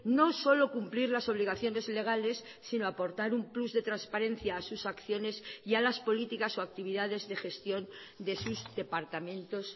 no solo cumplir las obligaciones legales sino aportar un plus de transparencia a sus acciones y a las políticas o actividades de gestión de sus departamentos